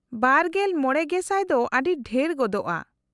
-᱒᱕,᱐᱐᱐/ᱼ ᱫᱚ ᱟᱹᱰᱤ ᱰᱷᱮᱨ ᱜᱚᱫᱚᱜᱼᱟ ᱾